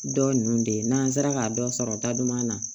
Dɔ ninnu de ye n'an sera ka dɔ sɔrɔ n ta duman na